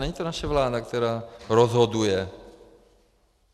Není to naše vláda, která rozhoduje.